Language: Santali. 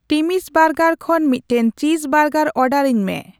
ᱴᱤᱢᱤᱥ ᱵᱟᱨᱜᱟᱨ ᱠᱷᱚᱱ ᱢᱤᱫᱴᱟᱝ ᱪᱤᱡ ᱵᱟᱨᱜᱟᱨ ᱚᱨᱰᱟᱨ ᱟᱹᱧᱢᱮ